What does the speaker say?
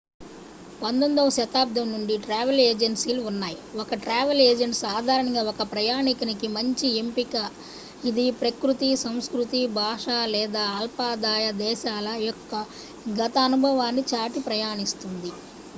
19వ శతాబ్దం నుండి ట్రావెల్ ఏజెన్సీలు ఉన్నాయి ఒక ట్రావెల్ ఏజెంట్ సాధారణంగా ఒక ప్రయాణికుని కి మంచి ఎంపిక ఇది ప్రకృతి సంస్కృతి భాష లేదా అల్పాదాయ దేశాల యొక్క గత అనుభవాన్ని దాటి ప్రయాణిస్తుంది